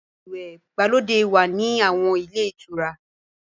Odò ìwẹ̀ ìgbàlódé wà ní àwọn ilé ìtura.